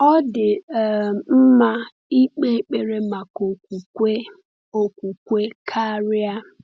Ọ dị um mma ịkpe ekpere maka okwukwe okwukwe karịa.